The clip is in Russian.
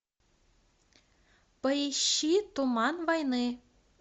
поищи туман войны